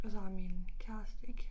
Og så har min kæreste ikke